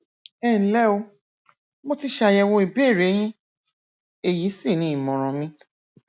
ẹnlẹ o mo ti ṣàyẹwò ìbéèrè yín èyí sì ni ìmọràn mi